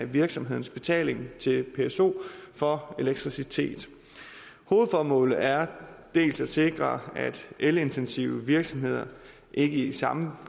virksomhedens betaling til pso for elektricitet hovedformålet er dels at sikre at elintensive virksomheder ikke i samme